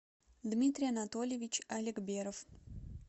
дмитрий анатолиевич алекберов